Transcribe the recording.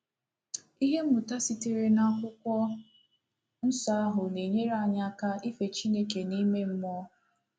Ihe mmụta sitere n'akwụkwọ nsọ ahụ na-enyere anyị aka ife Chineke n’ime mmụọ